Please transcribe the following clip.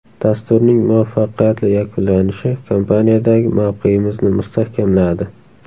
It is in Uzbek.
Dasturning muvaffaqiyatli yakunlanishi kompaniyadagi mavqeyimizni mustahkamladi.